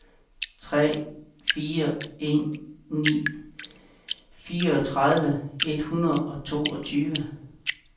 tre fire en ni fireogtredive et hundrede og toogtyve